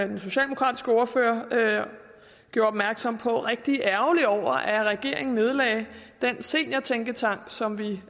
den socialdemokratiske ordfører gjorde opmærksom på rigtig ærgerlig over at regeringen nedlagde den seniortænketank som vi